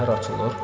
Səhər açılır.